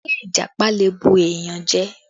Ṣé Ìjàpá lè bù èèyàn jẹ?